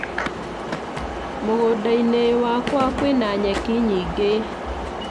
Mũgũnda -inĩ wakwa kwina nyeki nyingĩ.